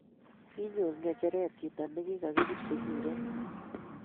Kinyor ngecheret chito nikikabirchi kuret